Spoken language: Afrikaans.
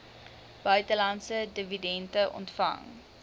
buitelandse dividende ontvang